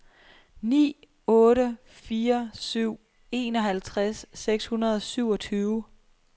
ni otte fire syv enoghalvtreds seks hundrede og syvogtyve